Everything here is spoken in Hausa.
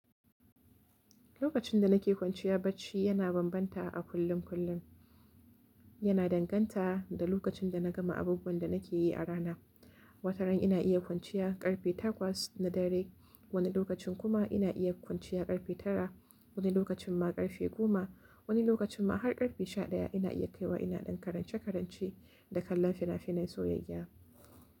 Lokacin da nake kwanciya bacci yana bambanta a kullum kullum, yana danganta da lokacin da na gama abubuwan da nake yi a rana. Wata ran ina iya kwanciya ƙarfe takwas na dare, wani lokacin kuma ina iya kwanciya ƙarfe tara, wani lokacin ma ƙarfe goma, wani lokacin ma har ƙarfe sha ɗaya ina iya kaiwa ina ɗan karance-karance da kallon fina-finai soyayya.